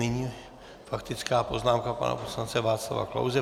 Nyní faktická poznámka pana poslance Václava Klause.